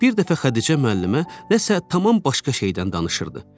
Bir dəfə Xədicə müəllimə nəsə tamam başqa şeydən danışırdı.